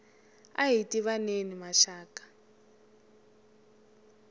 ahi tivaneni maxaka